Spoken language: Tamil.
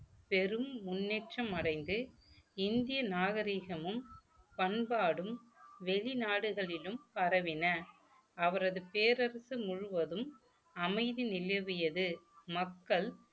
பெரும் முன்னேற்றம் அடைந்து இந்திய நாகரிகமும் பண்பாடும் வெளிநாடுகளிலும் பரவின அவரது பேரரசு முழுவதும் அமைதி நிலைவியது மக்கள்